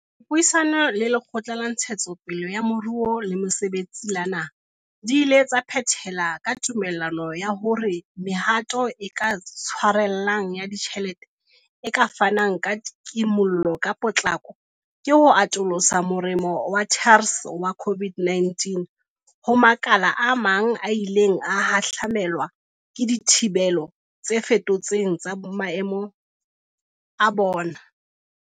Dipuisano le Lekgotla la Ntshetsopele ya Moruo le Mosebetsi la Naha di ile tsa phethela ka tumellano ya hore mehato e ka tshwarellang ya ditjhelete e ka fanang ka kimollo ka potlako ke ho atolosa moremo wa TERS wa COVID-19 ho makala a mang a ileng a hahlamelwa ke dithibelo tse feto tsweng tsa boemo ba bone.